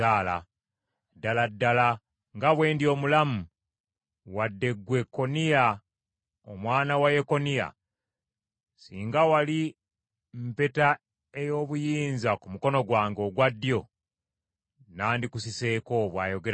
“Ddala ddala nga bwe ndi omulamu, wadde ggwe Koniya omwana wa Yekoyakimu, singa wali mpeta ey’obuyinza ku mukono gwange ogwa ddyo, nandikusiseeko,” bw’ayogera Mukama .